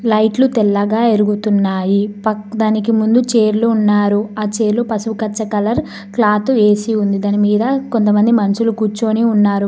లైట్లు తెల్లగా వెలుగుతున్నాయి పక్క దానికి ముందు చైర్లు ఉన్నారు ఆ చేలు పశువు కచ్చ కలర్ క్లాత్ ఏసి ఉంది దాని మీద కొంతమంది మనుషులు కూర్చొని ఉన్నారు.